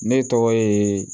Ne tɔgɔ ye